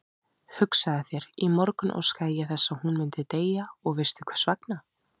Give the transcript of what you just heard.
Hugsaðu þér, í morgun óskaði ég þess að hún myndi deyja og veistu hversvegna?